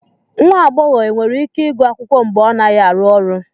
Nwa agbọghọ e nwere ike ịgụ akwụkwọ mgbe ọ naghị arụ ọrụ